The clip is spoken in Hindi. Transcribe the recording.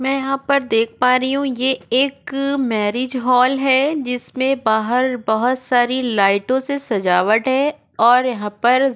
मैं यहाँ पर देख पा रही हूँ ये एक मैरिज हॉल है जिसमें बाहर बहुत सारी लाइटों से सजावट है और यहाँ पर --